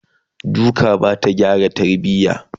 duka Bata gyara tarbiya